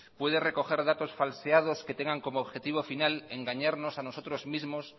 puede recoger datos falseados que tengan como objetivo final engañarnos a nosotros mismos